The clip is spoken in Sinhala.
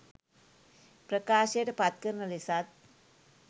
ප්‍රකාශයට පත්කරන ලෙසත්